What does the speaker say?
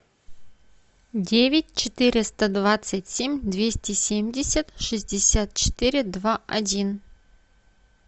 девять четыреста двадцать семь двести семьдесят шестьдесят четыре два один